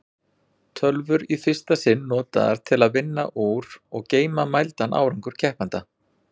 Tölvur í fyrsta sinn notaðar til að vinna úr og geyma mældan árangur keppenda.